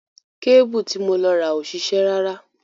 Kébùù tí mo lọ rà ò ṣiṣẹ́ rárá.